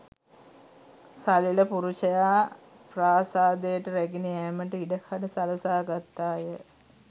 සලෙල පුරුෂයා ප්‍රාසාදයට රැගෙන යෑමට ඉඩ කඩ සලසා ගත්තා ය.